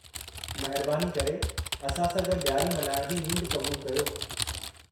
महिरबानी करे असां सां गॾु ॾियारी मल्हाइण जी नींड क़बूलु कयो।